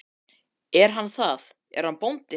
Er hann það, er hann bóndi?